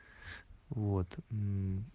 вот мм